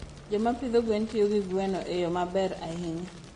Joma pidho gwen tiyo gi gweno e yo maber ahinya.